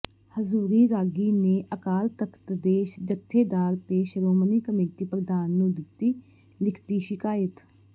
ਹਜ਼ੂਰੀ ਰਾਗੀ ਨੇ ਅਕਾਲ ਤਖ਼ਤ ਦੇ ਜਥੇਦਾਰ ਤੇ ਸ਼੍ਰੋਮਣੀ ਕਮੇਟੀ ਪ੍ਰਧਾਨ ਨੂੰ ਦਿਤੀ ਲਿਖਤੀ ਸ਼ਿਕਾਇਤ